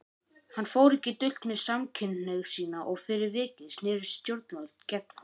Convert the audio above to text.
Hann fór ekki dult með samkynhneigð sína og fyrir vikið snerust stjórnvöld gegn honum.